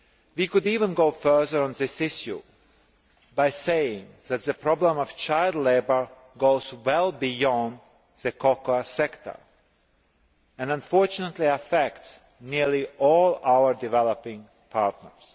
We could even go further on this issue by saying that the problem of child labour goes well beyond the cocoa sector and, unfortunately, affects nearly all our developing partners.